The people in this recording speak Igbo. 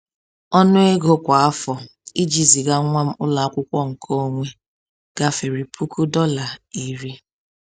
Ọnụ ego kwa afọ iji ziga nwa m ụlọ akwụkwọ nke onwe gafere puku dọla iri ($10,000)